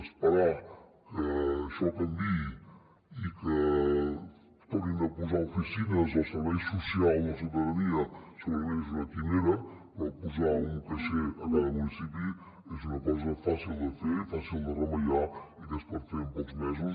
esperar que això canviï i que tornin a posar oficines al servei social de la ciutadania segurament és una quimera però posar un caixer a cada municipi és una cosa fàcil de fer fàcil de remeiar i que es pot fer en pocs mesos